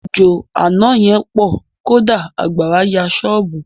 Òjò àna yẹn pọ̀. Kódà àgbàrá ya ṣọ́bùù.